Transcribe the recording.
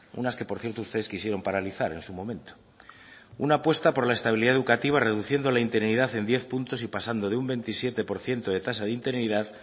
unas que por cierto ustedes quisieron paralizar en su momento una apuesta por la estabilidad educativa reduciendo la interinidad en diez puntos y pasando de un veintisiete por ciento de tasa de interinidad